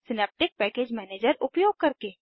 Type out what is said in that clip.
synaptic package manager उपयोग करके